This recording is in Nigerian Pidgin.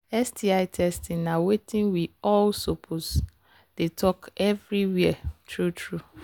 sti testing na watin we all suppose they talk everywhere true true